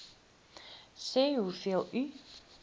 sê hoeveel u